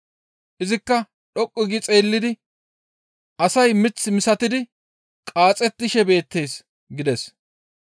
Izikka dhoqqu gi xeellidi, «Asay mith misatidi qaaxettishe beettes» gides.